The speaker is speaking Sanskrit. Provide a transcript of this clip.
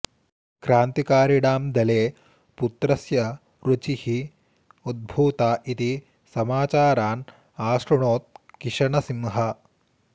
क्रान्तिकारिणां दले पुत्रस्य रुचिः उद्भूता इति समाचारान् अश्रृणोत् किशन सिंह